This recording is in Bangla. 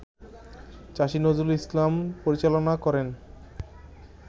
চাষী নজরুল ইসলাম পরিচালনা করেন